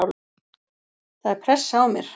Það er pressa á mér.